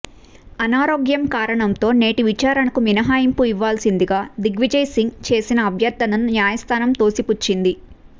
అనారోగ్యం కారణంతో నేటి విచారణకు మినహాయింపు ఇవ్వాల్సిందిగా దిగ్విజయ్సింగ్ చేసిన అభ్యర్థనను న్యాయస్థానం తొసిపుచ్చింది